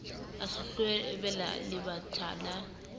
a se hloleabeha lebatha la